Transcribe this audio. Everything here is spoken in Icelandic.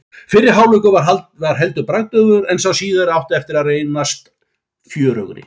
Fyrri hálfleikur var heldur bragðdaufur en sá síðari átti eftir að reyndast fjörugri.